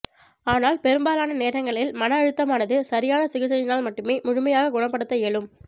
ஆனால் பெரும்பாலான நேரங்களில் மன அழுத்தமானது சரியான சிகிச்சையினால் மட்டுமே முழுமையாக குணப்படுத்த இயலும்